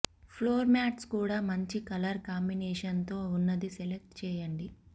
floor mats కూడా మంచి colour combination తో ఉన్నది సెలెక్ట్ చేయండి